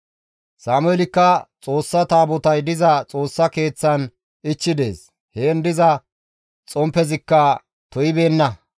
Sameelikka Xoossa taabotay diza Xoossa Keeththan ichchi dees; heen diza xomppezikka to7ibeenna.